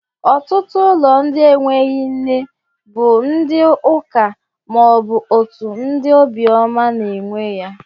Otutu ulo ndi eweghi nne bu ndi uka maobu otu ndi obioma n'ewe ya